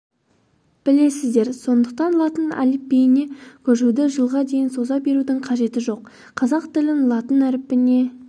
білесіздер сондықтан латын әліпбиіне көшуді жылға дейін соза берудің қажеті жоқ қазақ тілін латын әрпіне